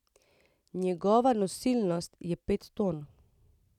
Njegova nosilnost je pet ton.